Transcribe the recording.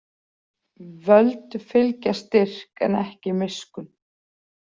Völd fylgja styrk en ekki miskunn.